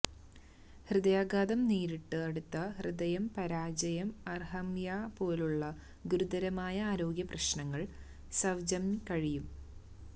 ഹൃദയാഘാതം നേരിട്ടു അടുത്ത ഹൃദയം പരാജയം അര്ര്ഹ്യ്ഥ്മിഅ പോലുള്ള ഗുരുതരമായ ആരോഗ്യ പ്രശ്നങ്ങൾ സ്വ്ജംയ് കഴിയും